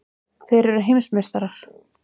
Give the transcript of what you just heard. Þeir eru heimsmeistarar!!!